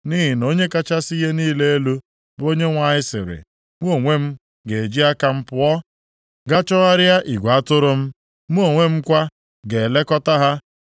“ ‘Nʼihi na Onye kachasị ihe niile elu, bụ Onyenwe anyị sịrị, mụ onwe m ga-eji aka m pụọ gaa chọgharịa igwe atụrụ m. Mụ onwe m kwa ga-elekọta ha.